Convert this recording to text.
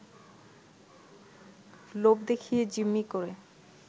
লোভ দেখিয়ে জিম্মি করে